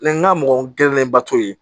Ni n ka mɔgɔ gɛlɛnnenba t'o ye